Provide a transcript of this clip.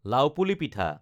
লাওপুলি পিঠা